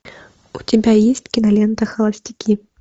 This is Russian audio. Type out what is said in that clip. у тебя есть кинолента холостяки